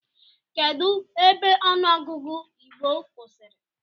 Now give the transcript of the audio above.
Kedụ ebe ọnụ ogụgụ igbo kwụsịrị?